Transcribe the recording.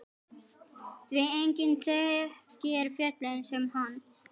Því enginn þekkir fjöllin sem hann.